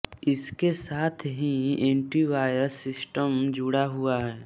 इसके साथ ही एंटीवायरस सिस्टम जुड़ा हुआ है